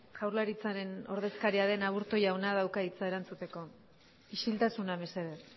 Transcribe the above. jaurlaritzaren ordezkaria den aburto jaunak dauka hitza erantzuteko isiltasuna mesedez